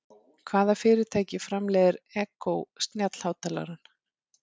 Hvaða fyrirtæki framleiðir Echo snjallhátalarann?